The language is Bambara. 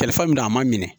Telifan min na a ma minɛ